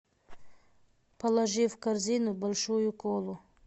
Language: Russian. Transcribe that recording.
положи в корзину большую колу